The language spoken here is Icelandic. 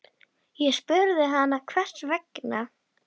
Ég spurði hana hvers vegna.